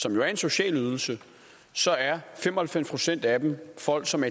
som jo er en social ydelse så er fem og halvfems procent af dem folk som